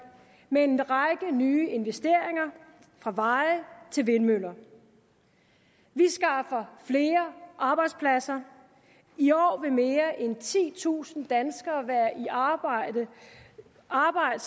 med en række nye investeringer fra veje til vindmøller vi skaffer flere arbejdspladser i år vil mere end titusind danskere være i arbejde arbejde